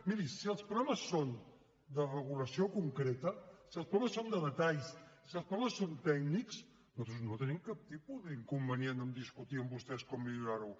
miri si els problemes són de regulació concreta si els problemes són de detalls si els problemes són tècnics nosaltres no tenim cap tipus d’inconvenient a discutir amb vostès com millorarho